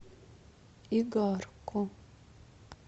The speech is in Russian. игарку